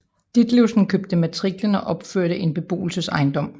Ditlevsen købte matriklen og opførte en beboelsesejendom